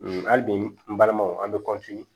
Hali bi n balimanw an be